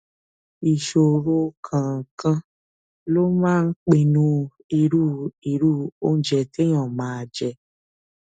ìṣòro kọọkan ló máa ń pinnu irú irú oúnjẹ téèyàn máa jẹ